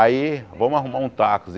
Aí, vamos arrumar um táxi.